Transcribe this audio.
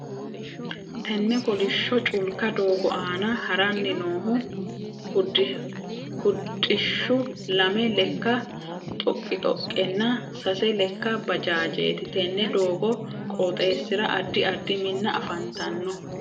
Tenne kolisho culka doogo aanna haranni noohu hudhishu lame leka xoqixoqenna sase leka baajaajeeti. Tenne doogo qooxeesira addi addi Minna afantanno.